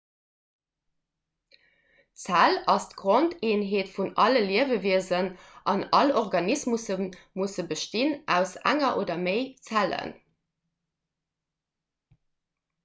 d'zell ass d'grondeenheet vun alle liewewiesen an all organismusse bestinn aus enger oder méi zellen